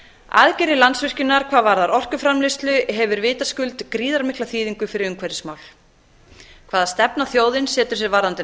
aðgerðir landsvirkjunar hvað varðar orkuframleiðslu hefur vitaskuld gríðarmikla þýðingu fyrir umhverfismál hvaða stefna þjóðin setur sér varðandi